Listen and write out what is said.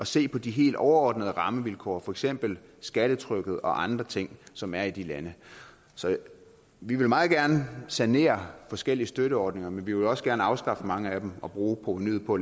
se på de helt overordnede rammevilkår for eksempel skattetrykket og andre ting som er i de lande vi vil meget gerne sanere forskellige støtteordninger men vi vil også gerne afskaffe mange af dem og bruge provenuet på